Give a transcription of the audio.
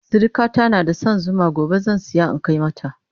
sirikata na da San Zuma gobe zan saya in Kai mata